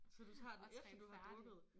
Så du tager den efter du har drukket?